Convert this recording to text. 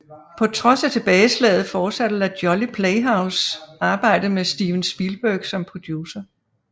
På trods af tilbageslaget fortsatte La Jolly Playhose arbejdet med Steven Spielberg som producer